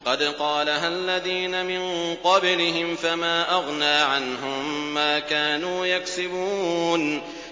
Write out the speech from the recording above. قَدْ قَالَهَا الَّذِينَ مِن قَبْلِهِمْ فَمَا أَغْنَىٰ عَنْهُم مَّا كَانُوا يَكْسِبُونَ